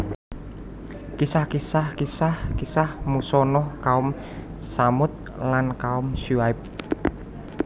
Kisah kisah Kisah kisah Musa Nuh kaum Tsamud lan kaum Syu aib